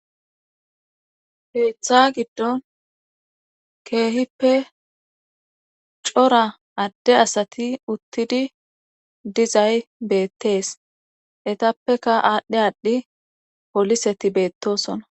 heeththa giddon keehippe cora adde asati uttidi dizay beettees etappeka aadhdhe aadhdhi poliseti beettosona